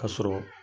Ka sɔrɔ